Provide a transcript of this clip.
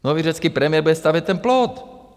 Nový řecký premiér bude stavět ten plot.